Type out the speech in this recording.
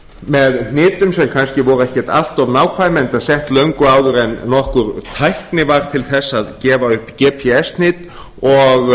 með hnitum sem ekki voru kannski allt of nákvæm enda sett löngu áður en nokkur tækni var til þess að gefa upp gps hnit og